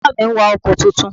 Bàbá mi n wa ọkò titun